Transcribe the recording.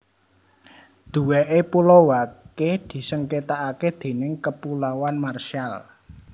Duweke Pulau Wake disengketakake déning Kepulauan Marshall